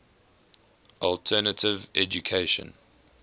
alternative education